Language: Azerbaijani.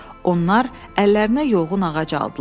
Onlar əllərinə yoğun ağac aldılar.